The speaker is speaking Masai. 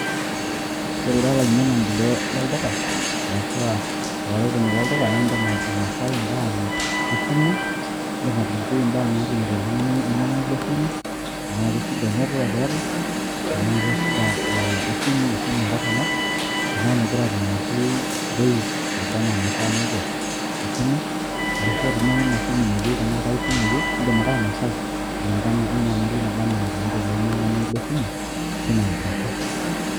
Ore ira olainyiang'ani e lolduka arashu aa olaretoni lolduka naa edim ainosai embaa naa esimu, edim atolikioi embaa naatumito oltung'ani leng'inyiang'ata esimu tenaa keshida enetiwak eeta, tenaa keshida esimu kesimu entorroni, tenaa megira atumoki bei nabaa naa naishaa naiko tesimu enaa Ina simu meyieu tenaa ae simu eyieu edim ake sii ainosai kulingana wenyamali naba enaa enatumito ilo ainyiang'ani Le simu teina rishata.